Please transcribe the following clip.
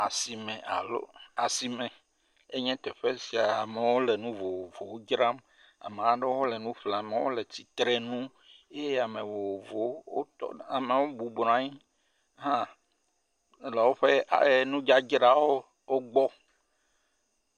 Asime alo, asime ye nye teƒe sia. Amewo le nu vovovowo dzram, amewo aɖewo hã le nu ƒlem. Ame aɖewo le tsitre ŋu eye ame vovovowo, ameawo bubɔ bɔ anyi eh eh hã le woƒe eh nu dzadzra wogbɔ